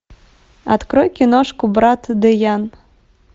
открой киношку брат дэян